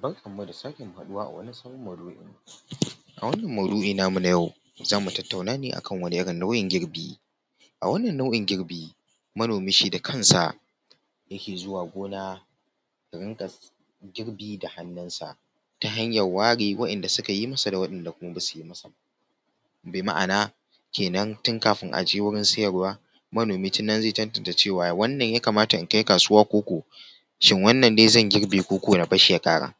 Barkan mu da sake haɗuwa a wani sabon maudu’i, a wannan maudu’in namu na yau za mu tattauna akan wani irin nau’in girbi. A wannan nau’in girbi manomi shi da kansa yake zuwa gona ya rinƙa girbi da hannun sa, ta hanyar ware wa'inda suka yi masa da wa'inda kuma basu yi masa ba, bi ma’ana kenan tun kafin aje wurin siyarwa manomi tin nan zai tantance cewa wannan ya kamata in kai kasuwa koko, shin wannan ne zan girbe koko na barshi ya ƙara.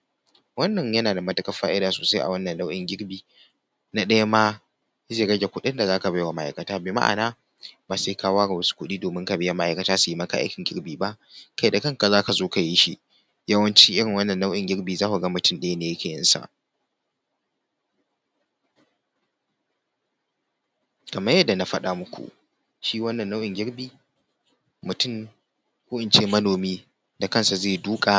Wannan yana da matuƙar fa’ida sosai a wannan nau’in girbi, na ɗaya ma zai rage kuɗin da zaka bai wa ma’aikata bi ma’ana ba sai ka ware wasu kuɗi domin ka baiwa ma’aikata domin su yi maka aikin girbi ba kai da kanka zaka zo ka yi shi. Yawanci irin wannan nau’in girbin za ku ga mutum ɗaya ne yake yin sa. Kamar yadda na faɗa maku shi wannan nau’in girbi mutum ko in ce manomi da kansa zai duƙa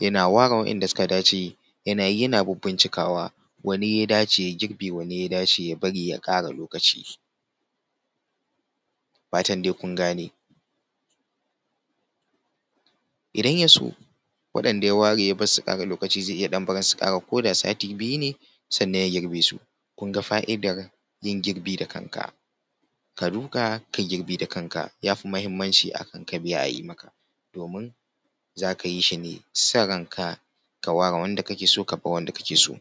yana ware wa’inda suka dace yana yi yana bibbincikawa wanne ya dace ya girbe wanne ya dace ya bari ya ƙara lokaci. Da fatan dai kun gane. Idan ya so waɗanda ya ware ya barsu su ƙara lokaci zai iya ɗan barin su su ƙara koda sati biyu ne sannan ya girbe su, kun ga fa’idar yin girbi da kan ka, ka duƙa ka girbe da kanka ya fi muhimmaci akan ka biya a yi maka domin za ka yi shi ne son ranka ka ware wanda kake so ka bar wanda kake so.